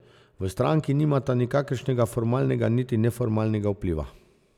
V stranki nimata nikakršnega formalnega niti neformalnega vpliva.